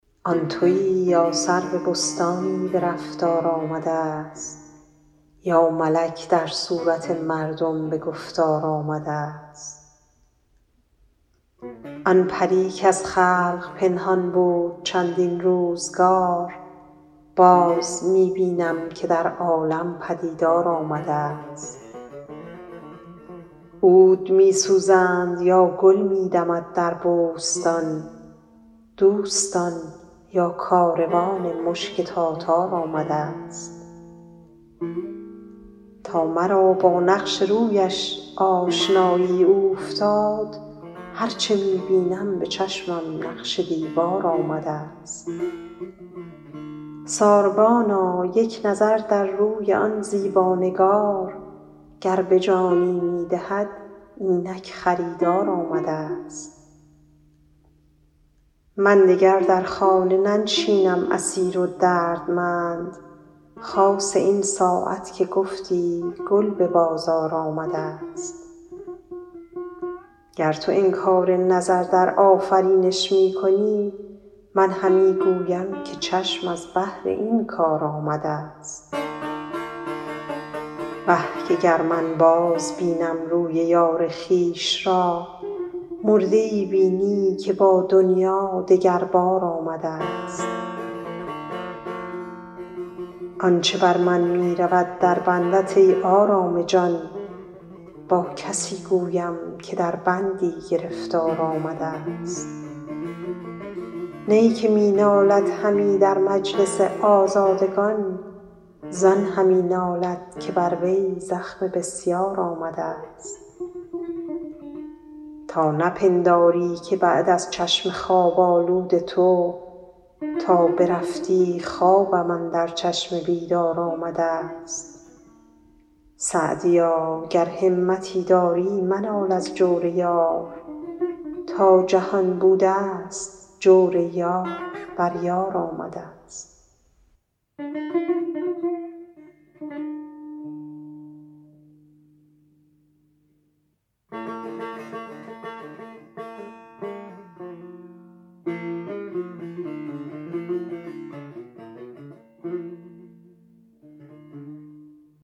آن تویی یا سرو بستانی به رفتار آمده ست یا ملک در صورت مردم به گفتار آمده ست آن پری کز خلق پنهان بود چندین روزگار باز می بینم که در عالم پدیدار آمده ست عود می سوزند یا گل می دمد در بوستان دوستان یا کاروان مشک تاتار آمده ست تا مرا با نقش رویش آشنایی اوفتاد هر چه می بینم به چشمم نقش دیوار آمده ست ساربانا یک نظر در روی آن زیبا نگار گر به جانی می دهد اینک خریدار آمده ست من دگر در خانه ننشینم اسیر و دردمند خاصه این ساعت که گفتی گل به بازار آمده ست گر تو انکار نظر در آفرینش می کنی من همی گویم که چشم از بهر این کار آمده ست وه که گر من بازبینم روی یار خویش را مرده ای بینی که با دنیا دگر بار آمده ست آن چه بر من می رود در بندت ای آرام جان با کسی گویم که در بندی گرفتار آمده ست نی که می نالد همی در مجلس آزادگان زان همی نالد که بر وی زخم بسیار آمده ست تا نپنداری که بعد از چشم خواب آلود تو تا برفتی خوابم اندر چشم بیدار آمده ست سعدیا گر همتی داری منال از جور یار تا جهان بوده ست جور یار بر یار آمده ست